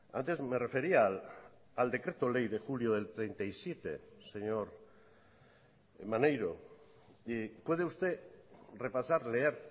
antes me refería al decreto ley de julio del treinta y siete señor maneiro puede usted repasar leer